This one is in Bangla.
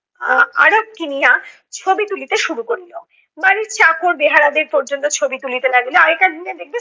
আহ কিনিয়া ছবি তুলিতে শুরু করিলো। বাড়ির চাকর বেহারাদের পর্যন্ত ছবি তুকিতে লাগিলো। আগেকার দিনে দেখবে